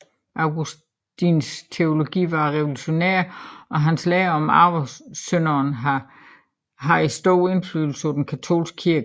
Augustins teologi var revolutionær og hans lære om arvesynden har haft stor indflydelse på den katolske kirke